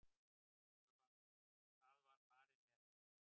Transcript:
Það var farið með hana.